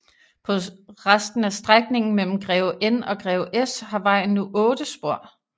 På resten af strækningen mellem Greve N og Greve S har vejen nu otte spor